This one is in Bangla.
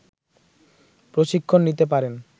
প্রশিক্ষণ নিতে পারেন